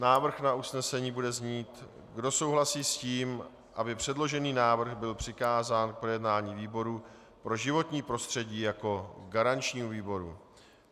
Návrh na usnesení bude znít: Kdo souhlasí s tím, aby předložený návrh byl přikázán k projednání výboru pro životní prostředí jako garančnímu výboru?